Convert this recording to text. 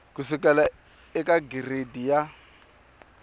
ku sukela eka giredi ya